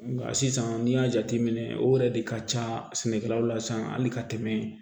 Nka sisan n'i y'a jateminɛ o yɛrɛ de ka ca sɛnɛkɛlaw la sisan hali ka tɛmɛ